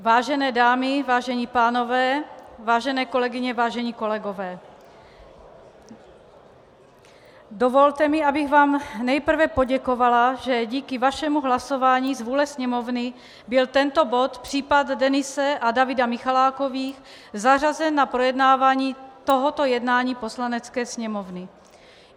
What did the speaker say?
Vážené dámy, vážení pánové, vážené kolegyně, vážení kolegové, dovolte mi, abych vám nejprve poděkovala, že díky vašemu hlasování z vůle Sněmovny byl tento bod, případ Denise a Davida Michalákových, zařazen na projednávání tohoto jednání Poslanecké sněmovny.